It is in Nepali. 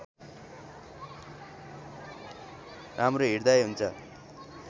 राम्रो हृदय हुन्छ